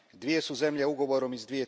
Dvije su zemlje ugovorom iz